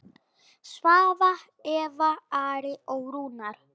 Svava, Eva, Ari og Rúnar.